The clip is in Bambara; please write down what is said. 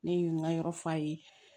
Ne ye n ka yɔrɔ f'a ye